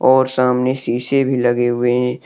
और सामने शीशे भी लगे हुए हैं।